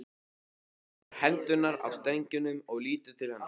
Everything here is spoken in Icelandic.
Hann tekur hendurnar af strengjunum og lítur til hennar.